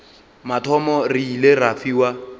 mathomo re ile ra fiwa